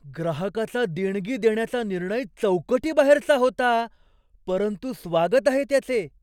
ग्राहकाचा देणगी देण्याचा निर्णय चौकटीबाहेरचा होता, परंतु स्वागत आहे त्याचे.